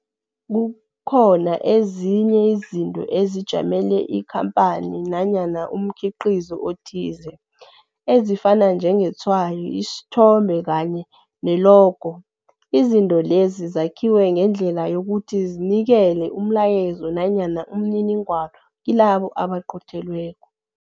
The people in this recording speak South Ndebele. Kukhona ezinye izinto ezijamele ikhamphani nanyana umkhiqizo othize, ezifana njetshwayo, isithombe kanye nelogo. Izinto lezi zakhiwe ngedlela yokuthi zinikele umlayezo nanyana umniningwana kilabo abaqothelweko.